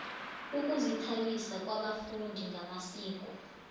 ukuzithabisa kwabafundi ngamasiko